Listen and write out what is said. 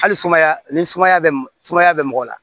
Hali sumaya ni sumaya bɛ sumaya bɛ mɔgɔ la